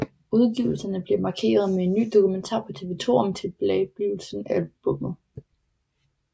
Udgivelsen bliver markeret med en ny dokumentar på TV2 om tilblivelsen af albummet